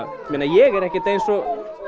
meina ég er ekkert eins og